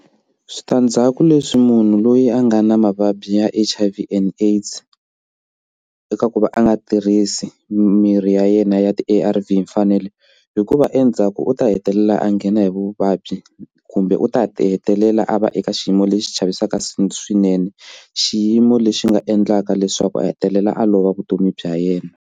Switandzhaku leswi munhu loyi a nga na mavabyi ya H_I_V and AIDS eka ku va a nga tirhisi mirhi ya yena ya ti A_R_V hi mfanelo hikuva endzhaku swa ku u ta hetelela a nghena hi vuvabyi kumbe u ta ti hetelela a va eka xiyimo lexi xi chavisaka swinene xiyimo lexi nga endlaka leswaku a hetelela a lova vutomi bya yena.